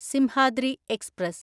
Simhadri express